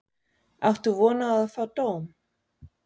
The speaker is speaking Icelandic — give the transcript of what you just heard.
Áttu von á að fá dóm?